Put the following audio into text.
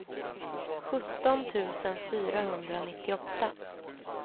sjutton tusen fyrahundranittioåtta